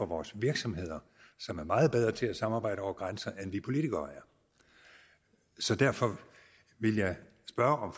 vores virksomheder som er meget bedre til at samarbejde over grænserne end vi politikere er så derfor vil jeg spørge om